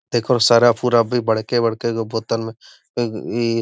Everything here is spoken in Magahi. देखोह सरफ उर्फ भी बड़के-बड़के गो बोतल में इ --